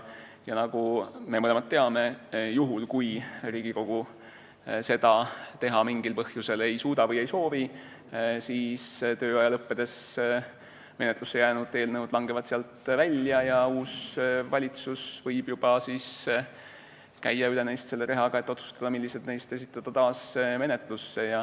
Nagu me mõlemad teame, juhul kui Riigikogu seda mingil põhjusel ei suuda või ei soovi teha, siis tööaja lõppedes menetlusse jäänud eelnõud langevad sealt välja ja uus valitsus võib eelnõudest juba rehaga üle käia, otsustades, millised neist esitada taas menetlusse.